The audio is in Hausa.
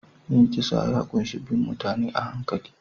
Yin kisa ya ƙunshi bin mutane a hankali